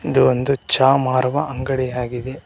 ಇದು ಒಂದು ಚಹ ಮಾರುವ ಅಂಗಡಿಯಾಗಿದೆ.